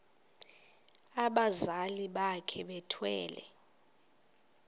abazali bakhe bethwele